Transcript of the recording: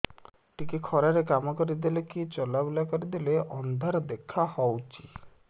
ଟିକେ ଖରା ରେ କାମ କରିଦେଲେ କି ଚଲବୁଲା କରିଦେଲେ ଅନ୍ଧାର ଦେଖା ହଉଚି